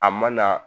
A ma na